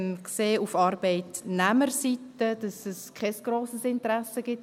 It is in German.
Wir sehen auf Arbeitnehmerseite, dass es kein grosses Interesse gibt;